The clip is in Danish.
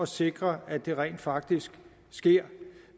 sikre at det rent faktisk sker